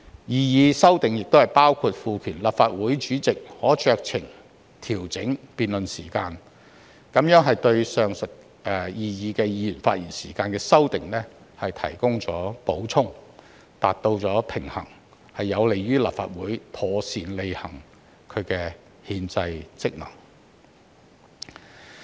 擬議修訂亦包括賦權立法會主席可酌情調整辯論時限，這對上述擬議議員發言時間的修訂提供了補充，達至平衡，有利於立法會妥善履行其憲制職能。